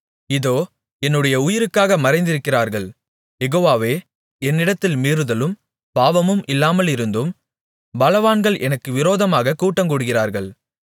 இதோ என்னுடைய உயிருக்காக மறைந்திருக்கிறார்கள் யெகோவாவே என்னிடத்தில் மீறுதலும் பாவமும் இல்லாமலிருந்தும் பலவான்கள் எனக்கு விரோதமாகக் கூட்டங்கூடுகிறார்கள்